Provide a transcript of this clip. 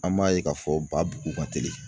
An b'a ye k'a fɔ ba bugu ka teli.